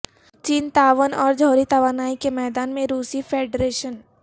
چین تعاون اور جوہری توانائی کے میدان میں روسی فیڈریشن